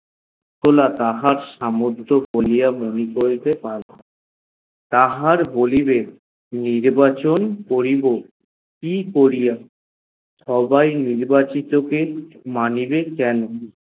হল তাহার সমর্থ অনুযায়ী মনে করিয়া তাহার বলিবে নির্বাচন করিব সবাই নির্বাচন কে মানিবে কেন